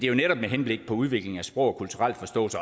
jo netop med henblik på udviklingen af sprog og kulturel forståelse